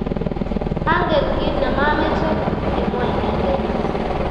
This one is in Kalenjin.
"Angen kiit ne mameche ,"kimwa inendet.